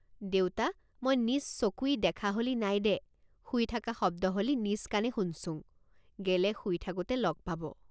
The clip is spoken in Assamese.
দেউতা মই নিজ চকুই দেখা হলি নাই দে শুই থাকা শব্দ হলি নিজ কাণে শুনচুং গেলে শুই থাকোতে লগ পাব।